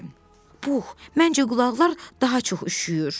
Pux, məncə qulaqlar daha çox üşüyür.